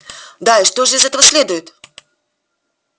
да и что же из этого следует